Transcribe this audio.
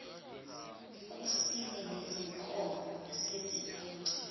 kusile nezinkomo sezibuye